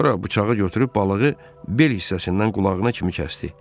Sonra bıçağı götürüb balığı bel hissəsindən qulağına kimi kəsdi.